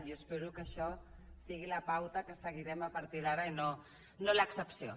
jo espero que això sigui la pauta que seguirem a partir d’ara i no l’excepció